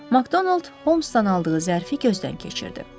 Makdonald Holmsdan aldığı zərfi gözdən keçirdi.